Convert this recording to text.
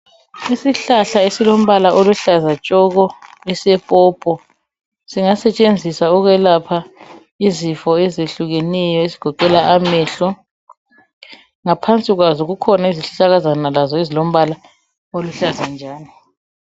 Isihlahla esilombala oluhlaza tshoko! esepopopo. Singasetshenziswa ukwelapha izifo ezehlukeneyo ezigoqela amehlo. Ngaphansi kwazo kukhona izihlahlakazana lazo ezilombala oluhlaza njalo.